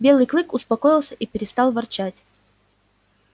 белый клык успокоился и перестал ворчать